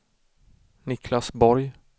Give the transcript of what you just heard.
Niklas Borg